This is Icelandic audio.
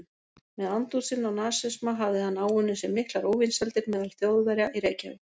Með andúð sinni á nasisma hefði hann áunnið sér miklar óvinsældir meðal Þjóðverja í Reykjavík.